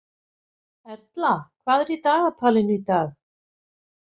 Erla, hvað er í dagatalinu í dag?